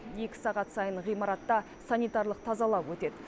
екі сағат сайын ғимаратта санитарлық тазалау өтеді